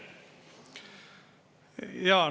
Jaa.